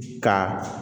Ka